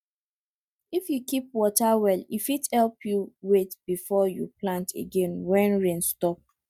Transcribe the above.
if you keep water well e fit help you wait before you plant again when rain stop